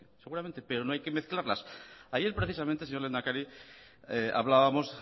seguramente pero no hay que mezclarlas ayer precisamente señor lehendakari hablábamos